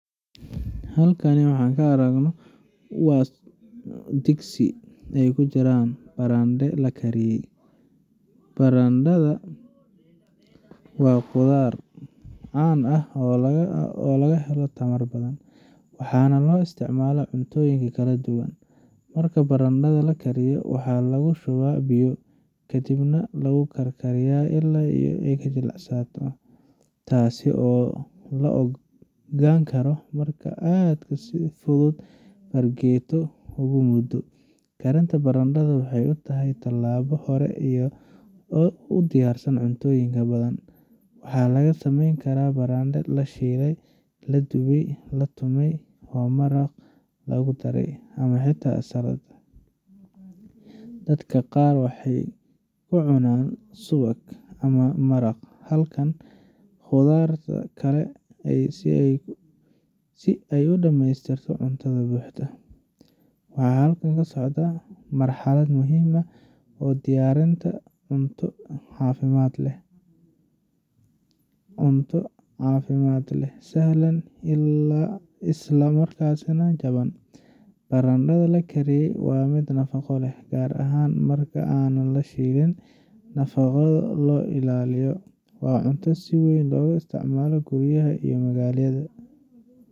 Halkani waxaa kaaragno waa dhigsi ay kujiran barandhe la kariye barandharada waa qudaar can ah oo laga helo tamar badan waxaana loo isticmalaa cuntoyin kala duwan marka barandhada lakariyo waxaa lagushubaa biyo, kadib nah lagu karkariyaa laai ay ka jilicsanaato taasi oo la ogaani kari marki aad sidi fudu fargeeto ugu mudo karinta baradhada waxay utahay tallaabo hore iyo u dhiyar san cuntooyinka badan, waxaa laga sameeni kara barandho lashiiley ladubay latumay oo maraq lagu dharay ama xitaa salad dadka qaar waxay kucunaan subag ama maraq halkan qudarta kale si ay u dhameystirto cuntada buuxda waxaa halkan kasocdaa marxalad ,muhiim oo diyarinta cunto caafimad leh sahlan ilaa isla markaas nah jaban barandadha lakariye waa mid nafaqo le gaar ahaan marki aanan la shilin nafaqada loo ilaaliyo waa cuntada si weyn loga isticmaalo guriyaha iyo magaloyinka.